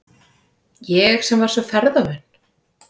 Ég sem var svo ferðavön.